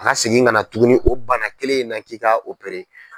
A ka segin ka na tuguni o bana kelen in na k'i ka